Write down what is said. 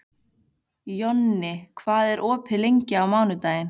Jonni, hvað er opið lengi á mánudaginn?